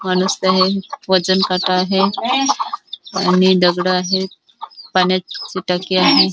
वजन काटा आहे आणि दगड आहेत पाण्याची टाकी आहे.